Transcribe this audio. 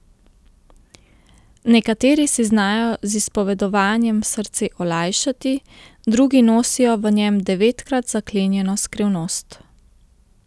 Nekateri si znajo z izpovedovanjem srce olajšati, drugi nosijo v njem devetkrat zaklenjeno skrivnost.